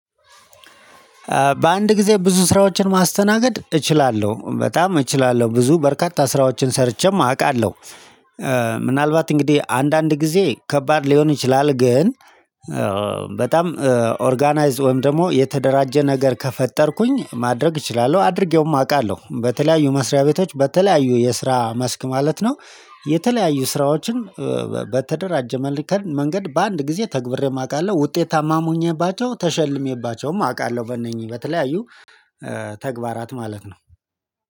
በአንድ ጊዜ ብዙ ስራዎችን ማስተናገድ እችላለሁ በጣም እችላለሁ ብዙ በርካታ ስራዎችን ሰርቼም አውቃለሁ። ምናልባት እንግዲህ አንዳንድ ጊዜ ከባድ ሊሆን ይችላል ግን። በጣም ኦርጋናይዝድ ወይም ደግሞ የተደራጀ ነገር ከፈጠርኩኝ ማድረግ እችላለሁ አድርጌውም አውቃለሁ በተለያዩ መስሪያ ቤቶች በተለያዩ የስራ መስክ ማለት ነው። የተለያዩ ስራዎችን በተደራጀ መንገድ በአንድ ጊዜ ተግብሬም አውቃለሁ ውጤታማም ሁኜባቸው ተሸልሜባቸውም አውቃለሁ። በእነኚህ በተለያዩ ተግባራት ማለት ነው